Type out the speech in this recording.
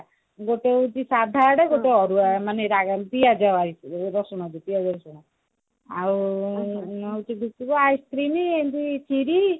ଗୋଟେ ହଉଛି ସାଧା ଆଡେ ଗୋଟେ ଅରୁଆ ମାନେ ରାଗ ପିଆଜ ରସୁଣ ଦେଇ ପିଆଜ ରସୁଣ ଓ ice-cream ଏମତି ଖିରୀ